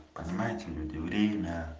понимаете люди время